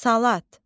Salat.